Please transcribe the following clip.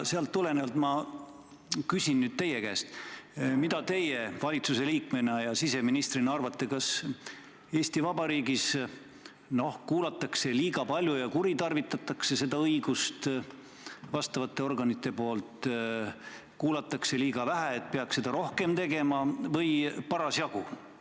Sealt tulenevalt ma küsin nüüd teie käest: mida teie valitsuse liikmena ja siseministrina arvate, kas Eesti Vabariigis kuulatakse liiga palju pealt ja vastavad organid kuritarvitavad seda õigust või kuulatakse liiga vähe, seda peaks rohkem tegema, või on seda parasjagu?